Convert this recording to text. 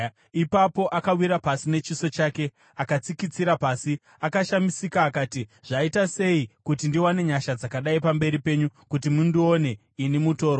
Ipapo, akawira pasi nechiso chake akatsikitsira pasi. Akashamisika, akati, “Zvaita sei kuti ndiwane nyasha dzakadai pamberi penyu kuti mundione ini mutorwa?”